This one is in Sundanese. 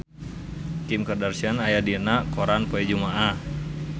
Kim Kardashian aya dina koran poe Jumaah